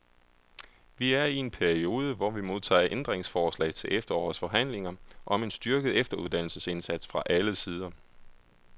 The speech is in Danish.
Vi er i en periode, hvor vi modtager ændringsforslag til efterårets forhandlinger om en styrket efteruddannelsesindsats fra alle sider.